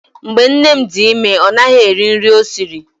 Mgbe nne m dị ime, ọ naghị eri nri ọ sịrị.